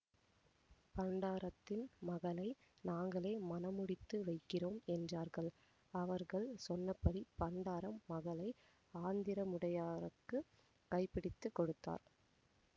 பண்டாரத்தின் மகளை நாங்களே மணமுடித்து வைக்கிறோம் என்றார்கள் அவர்கள் சொன்னபடி பண்டாரம் மகளை ஆந்திரமுடையாருக்கு கைபிடித்துக் கொடுத்தார்